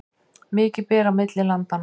Mikið ber á milli landanna